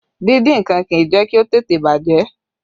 Díndín nǹkan kì í jẹ́ kí ó tètè bàjẹ́